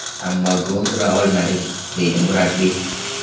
Ammo gol ura olmadik”, deydi murabbiy.